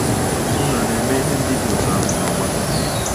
Unu a na-eme ihe ndị dị otú ahụ n’ọgbakọ gị?